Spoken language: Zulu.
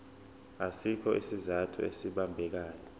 asikho isizathu esibambekayo